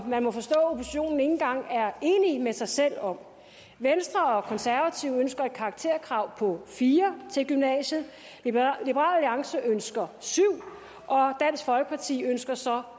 man må forstå at oppositionen ikke engang er enig med sig selv om venstre og konservative ønsker et karakterkrav på fire til gymnasiet liberal alliance ønsker et syv og dansk folkeparti ønsker så